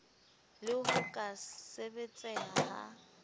le ho ka sebetseha ha